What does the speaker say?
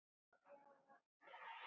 Já, var það ekki?